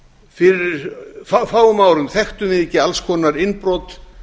fyrir fáum árum þekktum við ekki alls konar innbrot